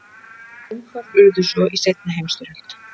Straumhvörf urðu svo í seinni heimsstyrjöld.